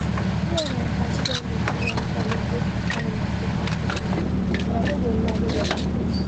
me and my padi don dey do one challenge wey concern relaxation technique and i no go lie e dey sweet us